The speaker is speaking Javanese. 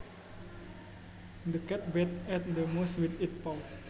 The cat batted at the mouse with its paws